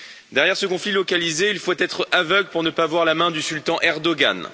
Derrière ce conflit localisé, il faut être aveugle pour ne pas voir la main du sultan Erdoğan.